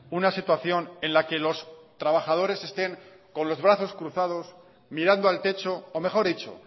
una situación en la que los trabajadores estén con los brazos cruzados mirando al techo o mejor dicho